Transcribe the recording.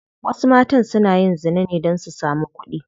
Wasu matan suna yin zina ne don su samu kudi.